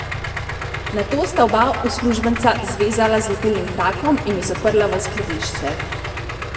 Nato sta oba uslužbenca zvezala z lepilnim trakom in ju zaprla v skladišče.